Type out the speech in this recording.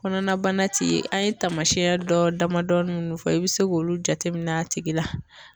Kɔnɔnabana ti ye an ye taamasiyɛn dɔ damadɔni minnu fɔ i bɛ se k'olu jateminɛ a tigi la